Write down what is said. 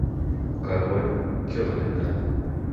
король керлинга